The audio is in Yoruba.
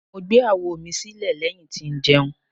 Mo gbe awo mi si ilẹ lẹhin ti njẹun